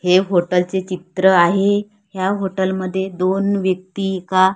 हे हॉटेल चे चित्र आहे. ह्या हॉटेल मध्ये दोन व्यक्ती एका--